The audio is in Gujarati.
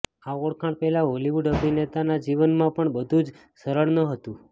આ ઓળખાણ પહેલા હોલીવુડ અભિનેતાના જીવનમાં પણ બધું જ સરળ ન હતું